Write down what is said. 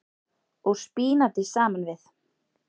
og spínati saman við.